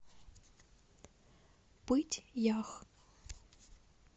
пыть ях